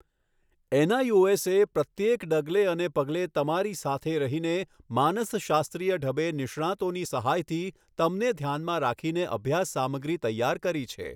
NIOS એ પ્રત્યેક ડગલે અને પગલે તમારી સાથે રહીને માનસશાસ્ત્રીય ઢબે નિષ્ણાતોની સહાયથી તમને ઘ્યાનમાં રાખીને અભ્યાસ સામગ્રી તૈયાર કરી છે.